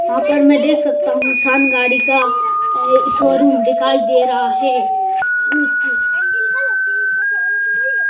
यहां पर मैं देख सकता हूं सान गाड़ी का शोरूम दिखाई दे रहा है।